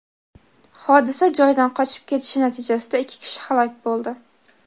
hodisa joyidan qochib ketishi natijasida ikki kishi halok bo‘ldi.